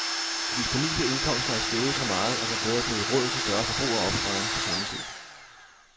De disponible indkomster er steget så meget, at der både er blevet råd til større forbrug og opsparing, på samme tid.